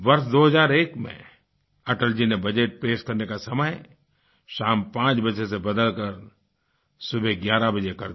वर्ष 2001 में अटल जी ने बजट पेश करने का समय शाम 5 बजे से बदलकर सुबह 11 बजे कर दिया